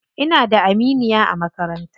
Ina da aminiya a makaranta.